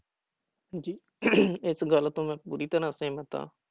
ਜੀ ਇਸ ਗੱਲ ਤੋਂ ਮੈਂ ਪੂਰੀ ਤਰ੍ਹਾਂ ਸਹਿਮਤ ਹਾਂ।